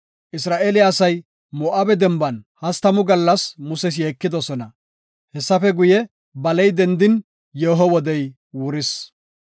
Isra7eele asay Moo7abe denban hastamu gallas Muses yeekidosona. Hessafe guye, baley dendin, yeeho wodey wuris.